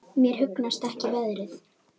Mér hugnast ekki veðrið.